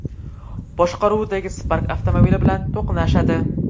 boshqaruvidagi Spark avtomobili bilan to‘qnashadi.